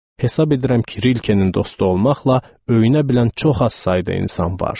Hesab edirəm ki, Rilkenin dostu olmaqla öyünə bilən çox az sayda insan var.